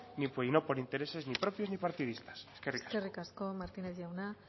y no por intereses ni propios ni partidistas eskerrik asko eskerrik asko martínez jauna